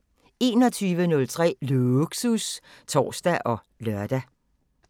21:03: Lågsus (tor og lør)